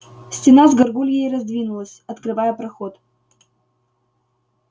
стена с гаргульей раздвинулась открывая проход